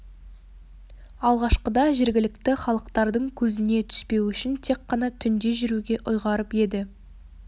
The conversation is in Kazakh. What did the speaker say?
алғашқыда жергілікті халықтардың көзіне түспеу үшін тек қана түнде жүруге ұйғарып еді